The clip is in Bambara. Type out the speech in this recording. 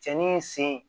Cɛnni in sen